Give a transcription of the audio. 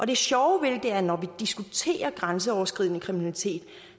det sjove ved det er at når vi diskuterer grænseoverskridende kriminalitet